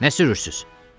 Nə sürürsüz?